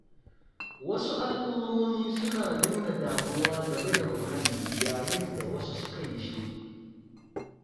Wasu al'ummomi suna nuna damuwa game da muhalli yayin da wasu suka yi shiru.